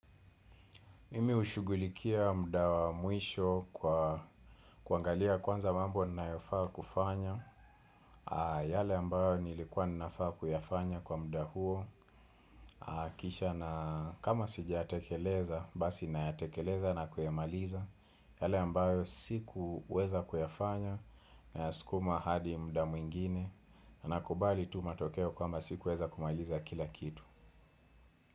Mimi hushugulikia muda wa mwisho kwa kuangalia kwanza mambo ninayofaa kufanya. Yale ambayo nilikuwa ninafaa kuyafanya kwa mudaa huo. Kisha na kama sijiyatekeleza, basi nayatekeleza na kuyamaliza. Yale ambayo sikuweza kuyafanya nayasukuma hadi muda mwingine. Na kubali tu matokeo kwamba sikuweza kumaliza kila kitu.